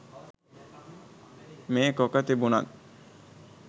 මේකොක තිබුනත්